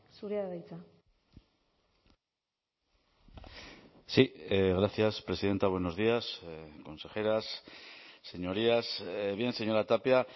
zurea da hitza sí gracias presidenta buenos días consejeras señorías bien señora tapia